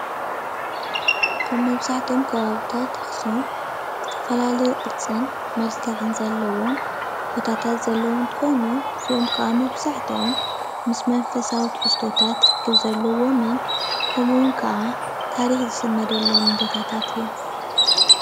አብ መብዛሕትኦም ከባብታት አክሱም ዝተፈላለዩ ቅርፅን መልክዕን ዘለዎም ቦታታት ዘለው እንትኮኑ እዚኦም ካዓ መብዛሕትኦም ምስ መንፈሳዊ ትሕዝቶታት ርክብ ዘለዎምን ከምኡ እውን ካዓ ታሪክ ዝስነደሎም ቦታታት እዮም።